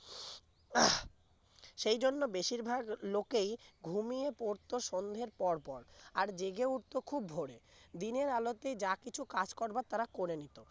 সেজন্য বেশিরভাগ লোকেই ঘুমিয়ে পড়তো সন্ধ্যের পর পর আর জেগে উঠতো খুব ভরে দিনের আলোতে যা কিছু কাজ করবার তারা করে নিত